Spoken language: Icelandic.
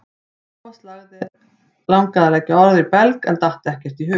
Thomas langaði að leggja orð í belg en datt ekkert í hug.